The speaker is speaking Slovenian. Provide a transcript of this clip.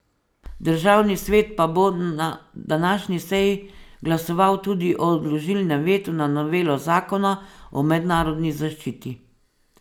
Državni svet pa bo na današnji seji glasoval tudi o odložilnem vetu na novelo zakona o mednarodni zaščiti.